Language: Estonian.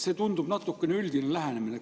See tundub teil natuke üldise lähenemisena.